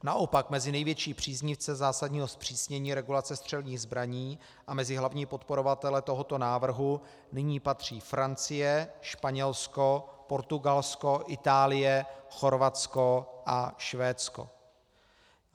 Naopak mezi největší příznivce zásadního zpřísnění regulace střelných zbraní a mezi hlavní podporovatele tohoto návrhu nyní patří Francie, Španělsko, Portugalsko, Itálie, Chorvatsko a Švédsko.